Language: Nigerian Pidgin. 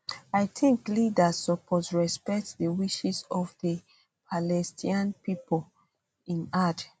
i tink leaders suppose respect di wishes of di palestinian pipo im add